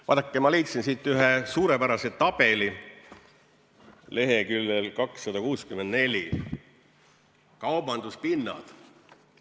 Vaadake, ma leidsin siit ühe suurepärase tabeli, leheküljel 264, kaubanduspinnad.